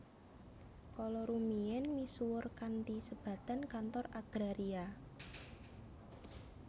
kala rumiyin misuwur kanthi sebatan Kantor Agraria